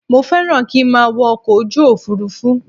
Mo fẹ́ràn kí n má a wọ ọkọ̀ ojú òfurufú